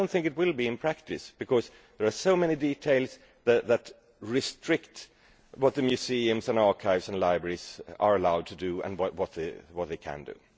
I do not think it will be, in practice, because there are so many details that restrict what the museums, archives and libraries are allowed to do.